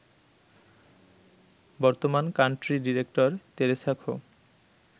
বর্তমান country director Teresa খো